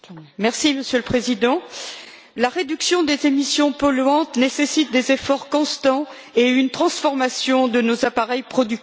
Monsieur le Président, la réduction des émissions polluantes nécessite des efforts constants et une transformation de nos appareils productifs.